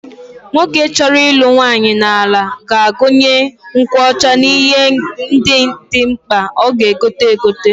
Nwoke chọrọ ịlụ nwaanyị n'ala ga-agụnye nkwụ ọcha n'ihe ndị dị mkpa ọ ga-egote egote.